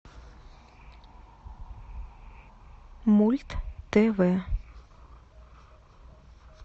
мульт тв